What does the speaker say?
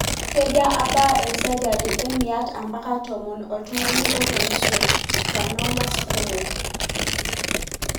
keja abaa esajati emiaet ampaka tomon oltungana otum schwannomas kumok.